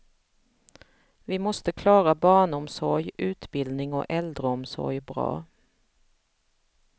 Vi måste klara barnomsorg, utbildning och äldreomsorg bra.